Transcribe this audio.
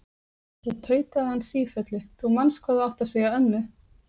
Svo tautaði hann sífellu: Þú manst hvað þú átt að segja ömmu!